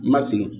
Ma sigi